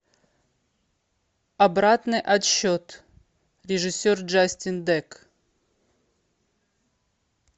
обратный отсчет режиссер джастин дек